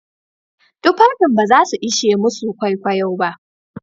Tufafin ba za su ishe masu kwaikwayon ba.